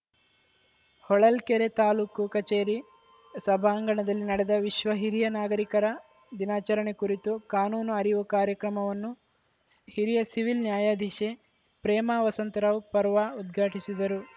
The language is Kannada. ಹೊಳಲ್ಕೆರೆ ತಾಲೂಕು ಕಚೇರಿ ಸಭಾಂಗಣದಲ್ಲಿ ನಡೆದ ವಿಶ್ವ ಹಿರಿಯ ನಾಗರಿಕರ ದಿನಾಚರಣೆ ಕುರಿತು ಕಾನೂನು ಅರಿವು ಕಾರ್ಯಕ್ರಮವನ್ನು ಹಿರಿಯ ಸಿವಿಲ್‌ ನ್ಯಾಯಾಧೀಶೆ ಪ್ರೇಮಾ ವಸಂತರಾವ್‌ ಪರ್ವಾ ಉದ್ಘಾಟಿಸಿದರು